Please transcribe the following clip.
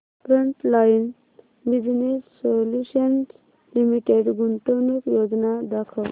frontline business solutions limited गुंतवणूक योजना दाखव